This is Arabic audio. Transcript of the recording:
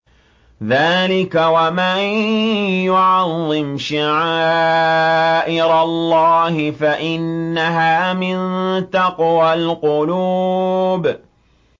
ذَٰلِكَ وَمَن يُعَظِّمْ شَعَائِرَ اللَّهِ فَإِنَّهَا مِن تَقْوَى الْقُلُوبِ